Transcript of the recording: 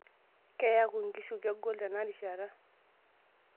Keyaku enkishui kegol tenarishata.